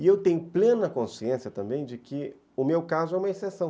E eu tenho plena consciência também de que o meu caso é uma exceção.